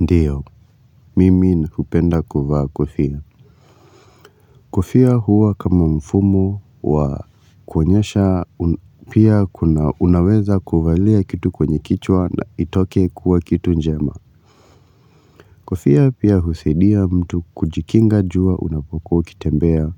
Ndio, mimi na upenda kuvaa kofia. Kofia huwa kama mfumo wa kuonyesha pia kuna unaweza kuvalia kitu kwenye kichwa na itoke kuwa kitu njema. Kofia pia husadia mtu kujikinga jua unapokuwa ukitembea.